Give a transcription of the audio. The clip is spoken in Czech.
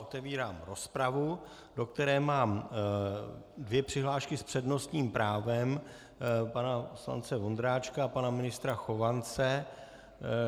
Otevírám rozpravu, do které mám dvě přihlášky s přednostním právem - pana poslance Vondráčka a pana ministra Chovance.